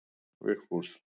Vigfús